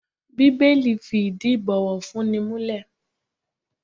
Bíbélì fi ìdí ibowofunni múlẹ̀.